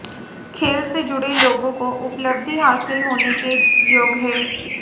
खेल से जुड़े लोगों को उपलब्धि हासिल होने के योग हैं